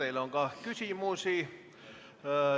Teile on ka küsimusi.